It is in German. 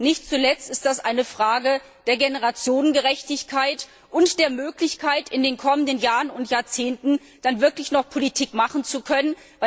Nicht zuletzt ist das eine Frage der Generationengerechtigkeit und der Möglichkeit, in den kommenden Jahren und Jahrzehnten dann wirklich noch Politik machen zu können.